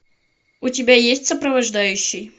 у тебя есть сопровождающий